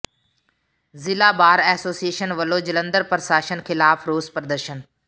ਜ਼ਿਲ੍ਹਾ bar association ਵੱਲੋਂ ਜਲੰਧਰ ਪ੍ਰਸ਼ਾਸਨ ਖਿਲਾਫ਼ ਰੋਸ ਪ੍ਰਦਰਸ਼ਨ